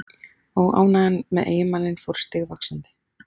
Óánægjan með eiginmanninn fór stigvaxandi.